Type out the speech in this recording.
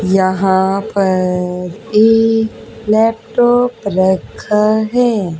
यहां पर एक लैपटॉप रखा है।